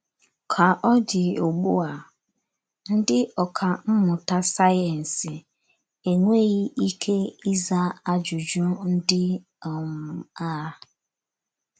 “ Ka ọ dị ugbu a, ndị ọkà mmụta sayensị enweghị ike ịza ajụjụ ndị um a. ”